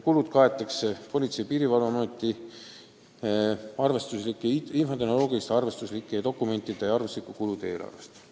Kulud kaetakse Politsei- ja Piirivalveameti infotehnoloogiliste ja dokumentide arvestuslike kulude eelarvest.